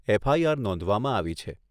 FIR નોંધવામાં આવી છે.